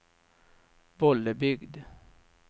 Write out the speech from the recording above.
Bollebygd